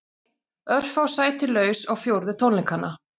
Örfá sæti laus á fjórðu tónleikana